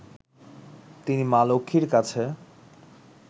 তিনি মা লক্ষ্মীর কাছে